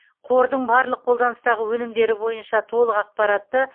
қордың барлық қолданыстағы өнімдері бойынша толық ақпаратты